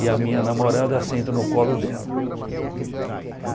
E a minha namorada senta no colo dela.